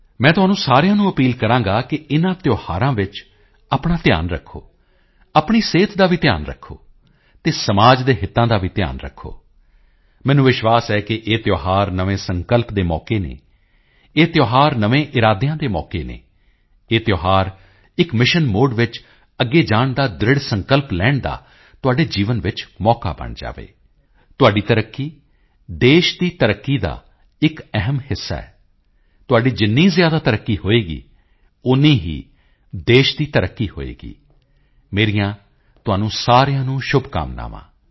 ਮੈਂ ਤੁਹਾਨੂੰ ਸਾਰਿਆਂ ਨੂੰ ਅਪੀਲ ਕਰਾਂਗਾ ਕਿ ਇਨਾਂ ਤਿਓਹਾਰਾਂ ਵਿੱਚ ਆਪਣਾ ਧਿਆਨ ਰੱਖੋ ਆਪਣੀ ਸਿਹਤ ਦਾ ਵੀ ਧਿਆਨ ਰੱਖੋ ਅਤੇ ਸਮਾਜ ਦੇ ਹਿਤਾਂ ਦਾ ਵੀ ਧਿਆਨ ਰੱਖੋ ਮੈਨੂੰ ਵਿਸ਼ਵਾਸ ਹੈ ਕਿ ਇਹ ਤਿਓਹਾਰ ਨਵੇਂ ਸੰਕਲਪ ਦੇ ਮੌਕੇ ਹਨ ਇਹ ਤਿਓਹਾਰ ਨਵੇਂ ਇਰਾਦਿਆਂ ਦੇ ਮੌਕੇ ਹਨ ਇਹ ਤਿਓਹਾਰ ਇੱਕ ਮਿਸ਼ਨ ਮੋਦੀ ਵਿੱਚ ਅੱਗੇ ਜਾਣ ਦਾ ਦ੍ਰਿੜ੍ਹ ਸੰਕਲਪ ਲੈਣ ਦਾ ਤੁਹਾਡੇ ਜੀਵਨ ਵਿੱਚ ਮੌਕਾ ਬਣ ਜਾਵੇ ਤੁਹਾਡੀ ਤਰੱਕੀ ਦੇਸ਼ ਦੀ ਤਰੱਕੀ ਦਾ ਇੱਕ ਅਹਿਮ ਹਿੱਸਾ ਹੈ ਤੁਹਾਡੀ ਜਿੰਨੀ ਜ਼ਿਆਦਾ ਤਰੱਕੀ ਹੋਵੇਗੀ ਓਨੀ ਹੀ ਦੇਸ਼ ਦੀ ਤਰੱਕੀ ਹੋਵੇਗੀ ਮੇਰੀਆਂ ਤੁਹਾਨੂੰ ਸਾਰਿਆਂ ਨੂੰ ਸ਼ੁਭਕਾਮਨਾਵਾਂ